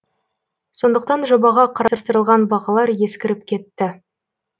сондықтан жобаға қарастырылған бағалар ескіріп кетті